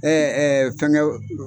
fɛnkɛw